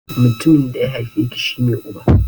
Mutumin da ya haife ki /ka shi ne Uba.